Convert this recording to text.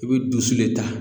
I bɛ dusu de ta